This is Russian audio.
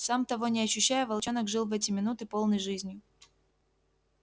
сам того не ощущая волчонок жил в эти минуты полной жизнью